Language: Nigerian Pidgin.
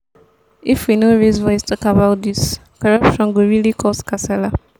if we no raise voice talk about dis corruptione go really cos kasala.